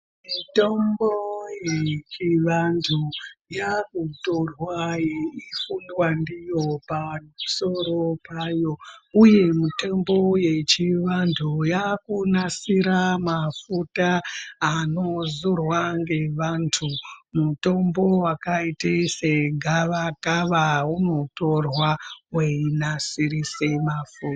Mitombo yechivantu yakutorwa yeifundwa ndiyo pamusoro payo uye mitombo yechivantu yaku asira mafuta anozorwa ngevantu. Mutombo wakaita segavakava unotorwa weinasirise mafu.